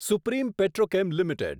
supreme petrochem limited